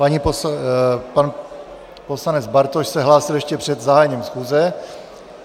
Pan poslanec Bartoš se hlásil ještě před zahájením schůze.